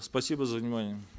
спасибо за внимание